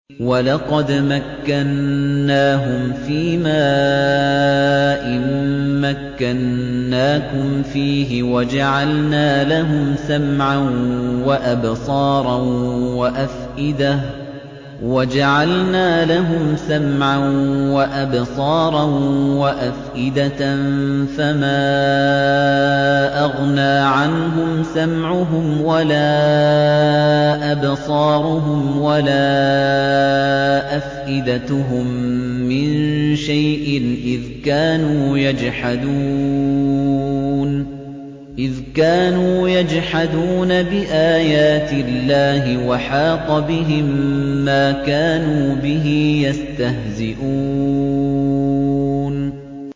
وَلَقَدْ مَكَّنَّاهُمْ فِيمَا إِن مَّكَّنَّاكُمْ فِيهِ وَجَعَلْنَا لَهُمْ سَمْعًا وَأَبْصَارًا وَأَفْئِدَةً فَمَا أَغْنَىٰ عَنْهُمْ سَمْعُهُمْ وَلَا أَبْصَارُهُمْ وَلَا أَفْئِدَتُهُم مِّن شَيْءٍ إِذْ كَانُوا يَجْحَدُونَ بِآيَاتِ اللَّهِ وَحَاقَ بِهِم مَّا كَانُوا بِهِ يَسْتَهْزِئُونَ